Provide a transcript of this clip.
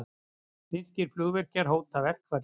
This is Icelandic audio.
Finnskir flugvirkjar hóta verkfalli